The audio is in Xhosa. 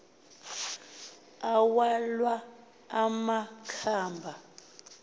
awalwa ama khaba